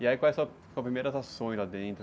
E aí, quais são as suas primeiras ações lá dentro?